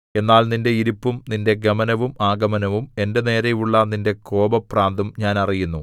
എന്നാൽ നിന്റെ ഇരിപ്പും നിന്റെ ഗമനവും ആഗമനവും എന്റെ നേരെയുള്ള നിന്റെ കോപഭ്രാന്തും ഞാൻ അറിയുന്നു